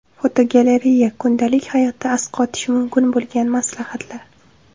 Fotogalereya: Kundalik hayotda asqotishi mumkin bo‘lgan maslahatlar.